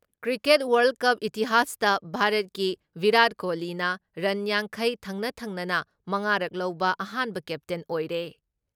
Cricket world cup ꯏꯇꯤꯍꯥꯁꯇ ꯚꯥꯔꯠꯀꯤ ꯚꯤꯔꯥꯠ ꯀꯣꯍꯂꯤꯅ ꯔꯟ ꯌꯥꯡꯈꯩ ꯊꯪꯅ ꯊꯪꯅꯅ ꯃꯉꯥ ꯔꯛ ꯂꯧꯕ ꯑꯍꯥꯟꯕ ꯀꯦꯞꯇꯦꯟ ꯑꯣꯏꯔꯦ ꯫